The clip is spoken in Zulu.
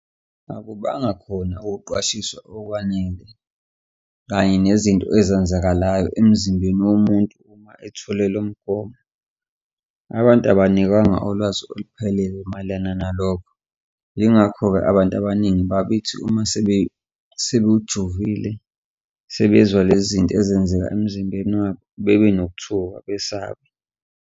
Akubanga khona ukuqwashiswa okwanele kanye nezinto ezenzakalayo emzimbeni womuntu uma etholele lo mgomo, abantu abanikwanga ulwazi oluphelelele mayelana nalokho. Yingakho-ke abantu abaningi babethi uma sebewujovile sebezwa lezi zinto ezenzaka emzimbeni wabo, bebe nokuthuthuka besabe.